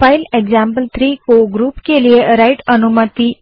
file example three को group के लिए राइट अनुमति